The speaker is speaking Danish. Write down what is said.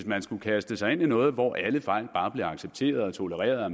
man skulle kaste sig ind i noget hvor alle fejl bare blev accepteret og tolereret og